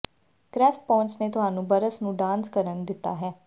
ਕ੍ਰੈਫਪੋਂਸ ਨੇ ਤੁਹਾਨੂੰ ਬਰਸ ਨੂੰ ਡਾਂਸ ਕਰਨ ਦਿੱਤਾ ਹੈ